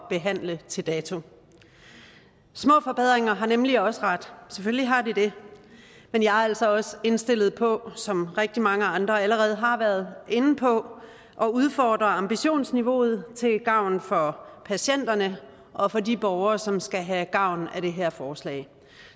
behandle til dato små forbedringer har nemlig også ret selvfølgelig har de det men jeg er altså også indstillet på som rigtig mange andre allerede har været inde på at udfordre ambitionsniveauet til gavn for patienterne og for de borgere som skal have gavn af det her forslag